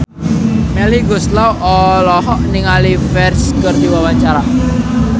Melly Goeslaw olohok ningali Ferdge keur diwawancara